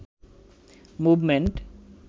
movement